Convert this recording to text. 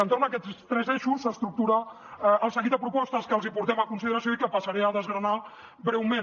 entorn d’aquests tres eixos s’estructura el seguit de propostes que els hi portem a consideració i que passaré a desgranar breument